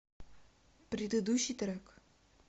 предыдущий трек